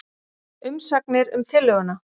Umsagnir um tillöguna